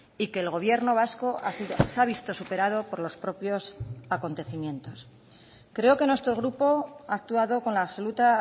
y que el gobierno vasco se ha visto superado por los propios acontecimientos creo que nuestro grupo ha actuado con la absoluta